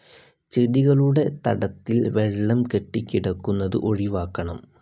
ചെടികളുടെ തടത്തിൽ വെള്ളം കെട്ടിക്കിടക്കുന്നത് ഒഴിവാക്കണം.